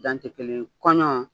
Dan tɛ kelen ye, kɔɲɔ